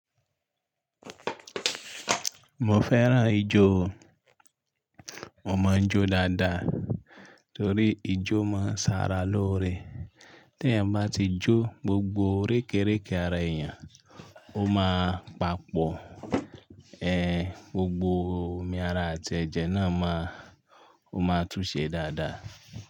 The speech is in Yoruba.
Mo fẹ́ràn ijó o. Mo mọ ijó dáadáa torí ijó máa ń ṣara lóore. Tí ẹ̀yan bá ti jó gbogbo rékéreké ara èèyàn ó máa papọ̀. Ẹ̀, gbogbo omi ara àti ẹ̀jẹ̀ náà máa, ó máa tún ṣe dáadáa.